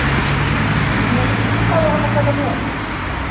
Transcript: Nei, hvað á hann að taka með?